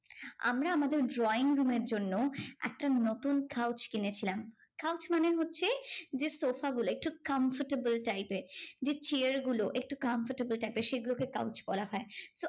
আমরা আমাদের drawing room এর জন্য একটা নতুন couch কিনেছিলাম। couch মানে হচ্ছে যে সোফাগুলো একটু comfortable type এর যে chair গুলো একটু comfortable type এর সেগুলো কে couch বলা হয়।